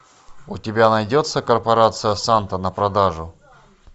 у тебя найдется корпорация санта на продажу